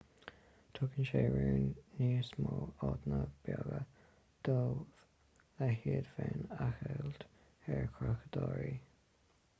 tugann sé sin raon níos mó áiteanna beaga dóibh le hiad féin a cheilt ar chreachadóirí